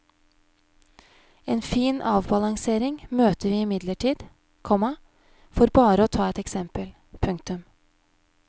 En fin avbalansering møter vi imidlertid, komma for bare å ta et eksempel. punktum